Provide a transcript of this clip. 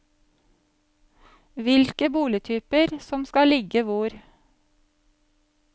Hvilke boligtyper som skal ligge hvor.